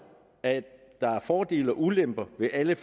at der er fordele og ulemper ved alle